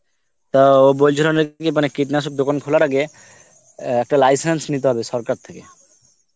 তাও বলছিল নাকি, মানে কীটনাশক দোকান খোলার আগে একটা license নিতে হবে সরকার থেকে